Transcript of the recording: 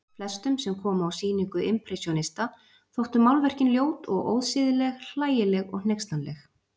Flestum sem komu á sýningu impressjónista þóttu málverkin ljót og ósiðleg, hlægileg og hneykslanleg.